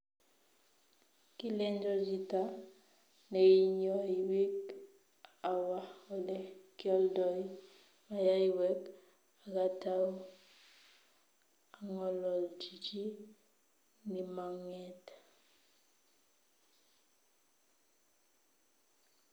Kilenjo chita neinyoi biik awa ole kioldoi maiywek akatau angololji chi nimanget